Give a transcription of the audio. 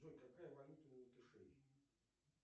джой какая валюта у латышей